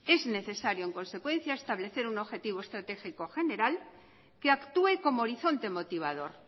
es necesario en consecuencia establecer un objetivo estratégico general que actúe como horizonte motivador